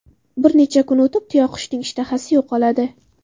Bir necha kun o‘tib, tuyaqushning ishtahasi yo‘qoladi.